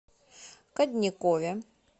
кадникове